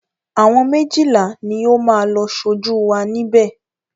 Àwọn méjìlá ni ó máa lọ ṣojú wa níbè.